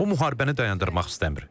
O müharibəni dayandırmaq istəmir.